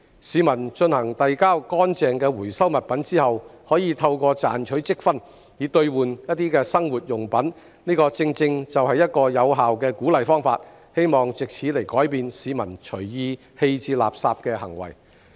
市民遞交乾淨的回收物品後，可透過賺取積分兌換生活用品，這正正是一個有效的鼓勵方法，希望藉此改變市民隨意棄置垃圾的行為。